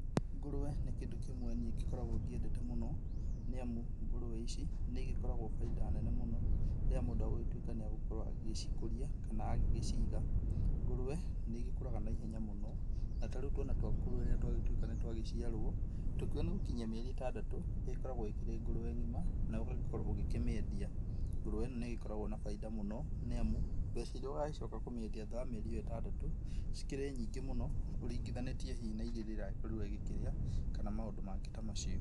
Ngũrũe nĩ kĩndũ kĩmwe kĩrĩa niĩ ngoretwe nyendete mũno, nĩamu ngũrũe ici nĩigĩkoragwa baida nene mũno rĩrĩa mũndũ agĩgĩtuĩka nĩegũcikũria kana agĩciga, ngũrũe nĩigikũraga na ihenya mũno na tarĩũ twana twa ngũrũe rĩrĩa twagĩtuĩka nĩtwagĩciarwa tũkĩũga nĩgũkinyia mĩeri ĩtandatũ ĩkoragwo ĩkĩrĩ ngũrũe ngima na ũgagĩkorwo ũkĩmĩendia, ngũrũe ĩno nĩ koragwa na baida mũno nĩamu mbeca irĩa wacoka kũmeindia thutha wa mĩeri ĩtandatũ cikĩrĩ nyingĩ mũno ũringithanĩtie hihi na irio iragĩkĩrĩa kana maũndũ mangĩ ta macio.